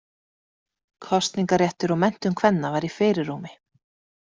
Kosningaréttur og menntun kvenna var í fyrirrúmi.